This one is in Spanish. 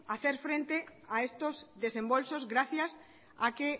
hacer frente a estos desembolsos gracias a que